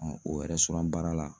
o yɛrɛ baara la